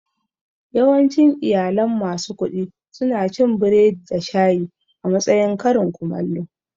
Yawancin iyalan masu kuɗi suna cin biredi da shayi a matsayin karin komallo